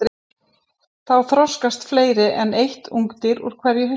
Þá þroskast fleiri en eitt ungdýr úr hverju hylki.